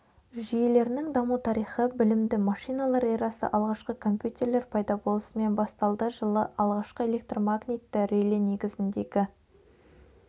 жүйелерінің даму тарихы білімді машиналар эрасы алғашқы компьютерлер пайда болысымен басталды жылы алғашқы электромагнитті реле негізіндегі